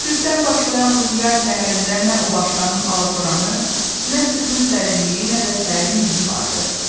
Sübdən başlayan bu yay səhərində nə o başdanın alatoranı, nə sübhün sərinliyi, nə də sərin mehi vardı.